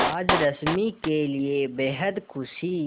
आज रश्मि के लिए बेहद खुशी